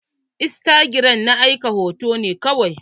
Istagiram na aika hoto ne kawai.